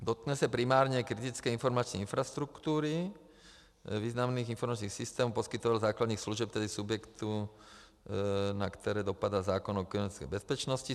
Dotkne se primárně kritické informační infrastruktury, významných informačních systémů a poskytovatelů základních služeb, tedy subjektů, na které dopadl zákon o kybernetické bezpečnosti.